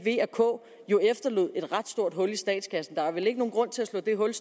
jo efterlod et ret stort hul i statskassen der er vel ikke nogen grund til at slå det hul